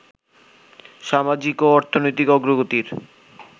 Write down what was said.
সামাজিক ও অর্থনৈতিক অগ্রগতির